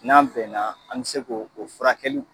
N'an bɛn na , an be se k'o o furakɛliw